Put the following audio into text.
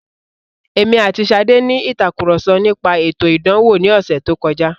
Èmi àti Ṣadé ní ìtàkurọ̀sọ nípa ètò ìdánwò ní ọ̀sẹ̀ tó kọjá.